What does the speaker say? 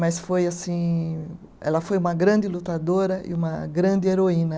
Mas foi assim, ela foi uma grande lutadora e uma grande heroína.